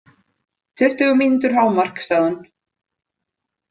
Tuttugu mínútur hámark, sagði hún.